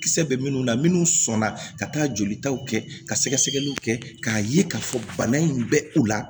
Kisɛ bɛ minnu na minnu sɔnna ka taa joli taw kɛ ka sɛgɛsɛgɛliw kɛ k'a ye k'a fɔ bana in bɛ u la